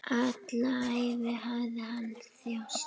Alla ævi hafði hann þjáðst.